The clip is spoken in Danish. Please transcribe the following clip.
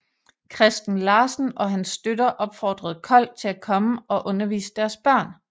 Christen Larsen og hans støtter opfordrede Kold til at komme og undervise deres børn